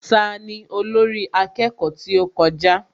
Tani olórí akẹ́kọ̀ọ́ tí ó kọjá?